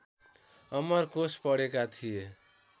अमरकोश पढेका थिए